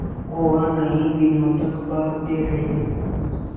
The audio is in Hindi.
और कई दिनों तक भागते रहे